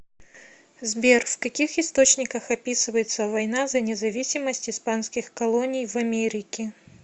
сбер в каких источниках описывается война за независимость испанских колоний в америке